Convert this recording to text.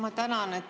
Ma tänan.